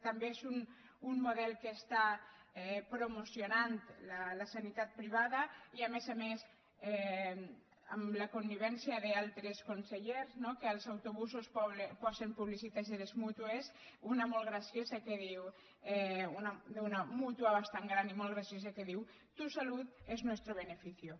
també és un model que està promocionant la sanitat privada i a més a més amb la connivència d’altres consellers no que als autobusos posen publicitat de les mútues una d’una mútua bastant gran i molt graciosa que diu tu salud es nuestro beneficio